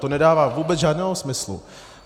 To nedává vůbec žádného smyslu.